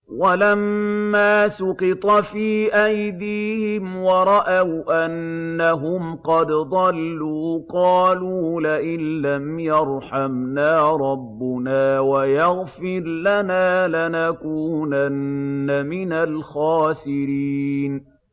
وَلَمَّا سُقِطَ فِي أَيْدِيهِمْ وَرَأَوْا أَنَّهُمْ قَدْ ضَلُّوا قَالُوا لَئِن لَّمْ يَرْحَمْنَا رَبُّنَا وَيَغْفِرْ لَنَا لَنَكُونَنَّ مِنَ الْخَاسِرِينَ